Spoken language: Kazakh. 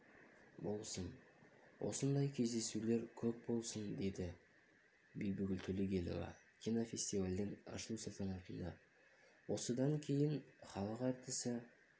болсын осындай кездесулер көп болсын деді бибігүл төлегенова кинофестивальдің ашылу салтанатында осыдан кейін іалық әртісі